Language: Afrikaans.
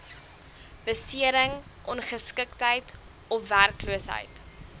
besering ongeskiktheid ofwerkloosheid